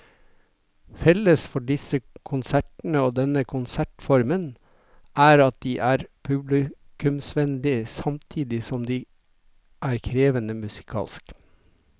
Felles for disse konsertene og denne konsertformen er at de er publikumsvennlige samtidig som de er krevende musikalsk.